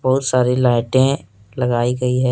बहुत सारी लाइटें लगाई गई हैं।